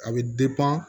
A bɛ